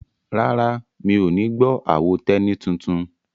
Rárá, mi ò ní gbọ́ àwo Tẹ́ní tuntun?